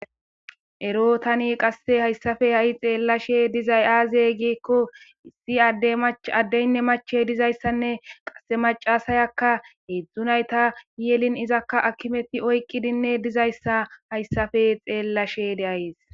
Ero taani hayssan qasse xeelashe dizay aaze giikko issi adde addenne machiya dizayssa qasse maccasiyakka hedzdzu nayta yelin ezaka hakimeti oyqizayssa hayssappe xeelashe de'ays.